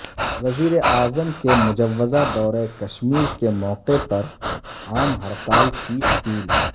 وزیر اعظم کے مجوزہ دورہ کشمیر کے موقع پر عام ہڑتال کی اپیل